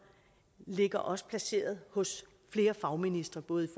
ligger også placeret hos flere fagministre både i